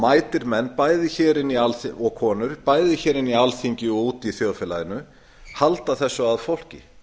mætir menn og konur bæði hér í alþingi og úti í þjóðfélaginu halda þessu að fólki